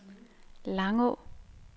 Langå